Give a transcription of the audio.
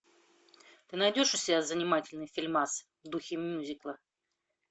ты найдешь у себя занимательный фильмас в духе мьюзикла